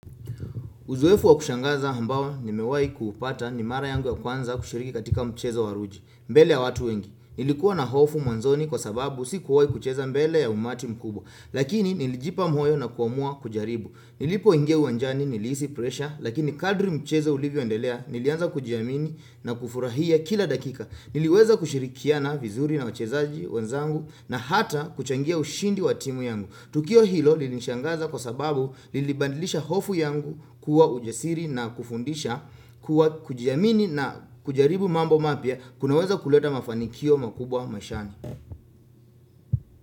Uzoefu wa kushangaza ambao ni mewai kuupata ni mara yangu ya kwanza kushiriki katika mchezo waruji, mbele ya watu wengi. Nilikuwa na hofu mwanzoni kwa sababu si kuwai kucheza mbele ya umati mkubwa, lakini nilijipa moyo na kuamua kujaribu. Nilipo ingia uwanjani nilihisi pressure, lakini kadri mchezo ulivyo endelea nilianza kujiamini na kufurahia kila dakika. Niliweza kushirikiana vizuri na wachezaji wenzangu na hata kuchangia ushindi wa timu yangu. Tukio hilo lilinishangaza kwa sababu lilibadilisha hofu yangu kuwa ujasiri na kufundisha kuwa kujiamini na kujaribu mambo mapya kunaweza kuleta mafanikio makubwa maishani.